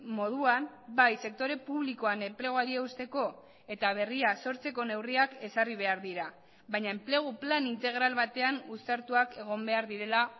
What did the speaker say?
moduan bai sektore publikoan enpleguari eusteko eta berria sortzeko neurriak ezarri behar dira baina enplegu plan integral batean uztartuak egon behar direla